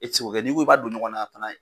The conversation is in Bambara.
E tɛ se kɛ, n'i ko i b'a dɔn ɲɔgɔnna, a fana